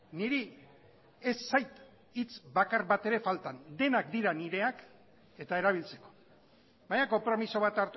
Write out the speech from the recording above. niri ez zait hitz bakar bat ere faltan denak dira nireak eta erabiltzeko baina konpromiso bat